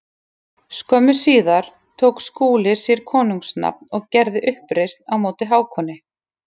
Skömmu síðar tók Skúli sér konungs nafn og gerði uppreisn móti Hákoni.